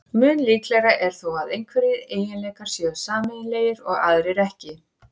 Mun líklegra er þó að einhverjir eiginleikar séu sameiginlegir og aðrir ekki.